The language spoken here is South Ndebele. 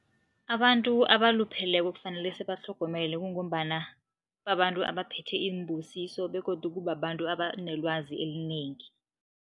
Abantu abalupheleko kufanele sibatlhogomele kungombana babantu abaphethe imbusiso begodu kubabantu abanelwazi elinengi.